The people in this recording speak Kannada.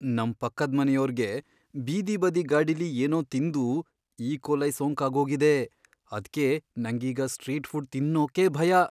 ನಮ್ ಪಕ್ಕದ್ಮನೆಯೋರ್ಗೆ ಬೀದಿ ಬದಿ ಗಾಡಿಲಿ ಏನೋ ತಿಂದು ಈಕೋಲೈ ಸೋಂಕಾಗೋಗಿದೆ, ಅದ್ಕೆ ನಂಗೀಗ ಸ್ಟ್ರೀಟ್ ಫುಡ್ ತಿನ್ನೋಕೇ ಭಯ.